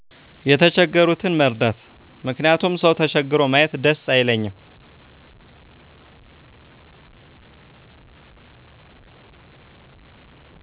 የተቸገሩትን መርዳት ምክንያቱም ሰው ተቸግሮ ማየት ደስ አይለኝም።